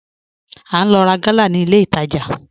À n lò rá gàlà ní ilẹ̀ ìtajà